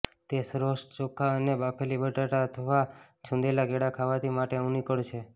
તે શ્રેષ્ઠ ચોખા અને બાફેલી બટાટા અથવા છૂંદેલા કેળા ખાવાથી માટે અનુકૂળ છે